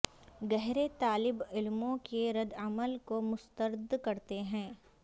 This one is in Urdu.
گہرے طالب علموں کے ردعمل کو مسترد کرتے ہیں